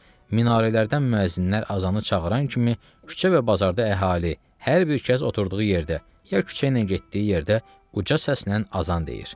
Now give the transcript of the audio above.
Minarələrdən müəzzinlər azanı çağıran kimi küçə və bazarda əhali hər bir kəs oturduğu yerdə, ya küçəylə getdiyi yerdə uca səslə azan deyir.